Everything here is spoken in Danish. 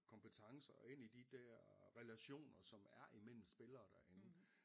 Kompetencer og ind i de dér relationer som er imellem spillere derinde